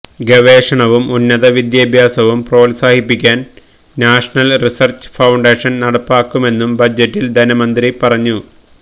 ഗവേഷണവും ഉന്നത വിദ്യാഭ്യാസവും പ്രോത്സാഹിപ്പിക്കാന് നാഷ്ണല് റിസര്ച്ച് ഫൌണ്ടേഷന് നടപ്പാക്കുമെന്നും ബജറ്റില് ധനമന്ത്രി പറഞ്ഞു